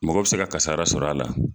Mɔgɔ bɛ se kasara sɔrɔ a la.